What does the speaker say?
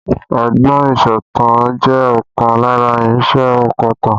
Ọgbọ́n ìsọ̀tàn jẹ́ ọ̀kan lára irinsẹ́ ònkọ̀tan